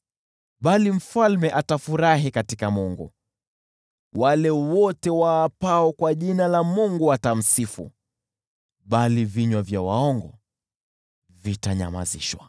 Bali mfalme atafurahi katika Mungu, wale wote waapao kwa jina la Mungu watamsifu, bali vinywa vya waongo vitanyamazishwa.